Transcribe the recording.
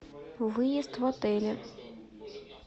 выезд в отеле